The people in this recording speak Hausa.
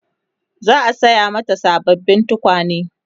za'a saya mata sababbin tukwane